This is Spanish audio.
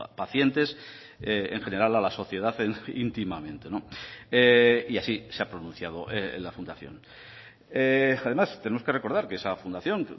pacientes en general a la sociedad íntimamente y así se ha pronunciado la fundación además tenemos que recordar que esa fundación